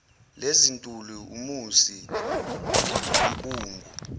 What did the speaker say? lezintuli umusi inkungu